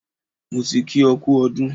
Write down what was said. Mo ti kí ọ kú ọdún.